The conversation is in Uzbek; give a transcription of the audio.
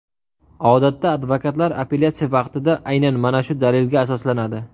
Odatda advokatlar apellyatsiya vaqtida aynan mana shu dalilga asoslanadi.